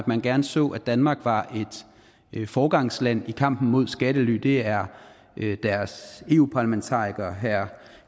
man gerne så at danmark var et foregangsland i kampen mod skattely det er deres eu parlamentariker